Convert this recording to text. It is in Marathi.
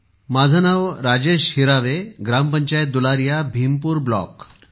माझे नाव राजेश हिरावे ग्रामपंचायत दुलारिया भीमपूर ब्लॉक ।